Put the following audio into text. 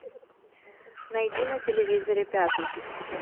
найди на телевизоре пятый